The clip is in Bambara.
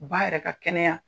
U b'a yɛrɛ ka kɛnɛya